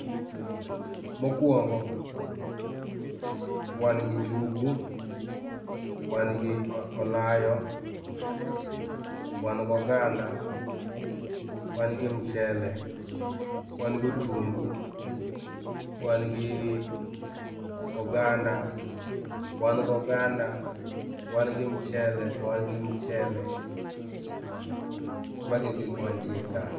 Mokuongo, wan gi njugu, wan gi olayo, wan go oganda, wan gi mchele, wan gi otungu, wan gi oganda, wan go oganda, wan gi mchele, to wan gi mchele, mago e gikma nitie ka